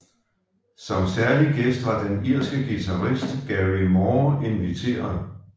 Som særlig gæst var den irske guitarist Gary Moore inviteret